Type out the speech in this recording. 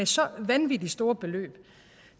så vanvittig store beløb